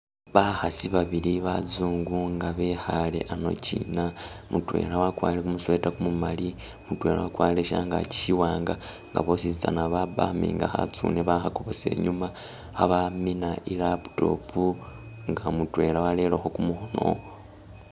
Bakhasi babili bazungu nga bekhale ano chiina, mutwela wakwarile kumu'sweater kumumali, mutwela wakwarile shangaki shiwanga nga bositsana bapaminga khatsune bakhesa inyuma khamina i'laptop nga mutwela walelekho kumukhono